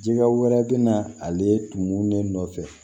Jika wɛrɛ bɛ na ale tumu de nɔfɛ